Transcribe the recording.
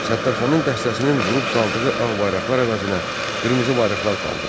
Səttərxanın dəstəsinin vurub saldığı ağ bayraqlar əvəzinə qırmızı bayraqlar qaldırıldı.